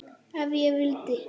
Ef ég vildi.